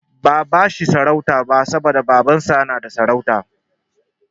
Ba'a bashi sarauta bane saboda Babansa yana da sarauta.